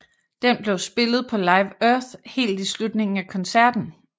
Den blev spillet på Live Earth helt i slutningen af koncerten